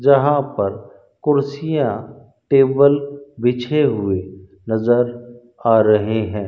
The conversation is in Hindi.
जहाँ पर कुर्सियाँ टेबल बिछे हुए नजर आ रहें हैं।